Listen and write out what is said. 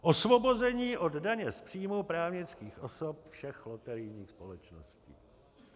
Osvobození od daně z příjmu právnických osob všech loterijních společností.